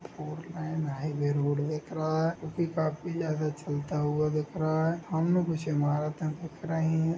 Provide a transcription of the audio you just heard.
Four lane highway road दिख रहा है जो की काफी ज्यादा चलता हुआ दिख रहा है सामने कुछ इमारतें दिख रही है।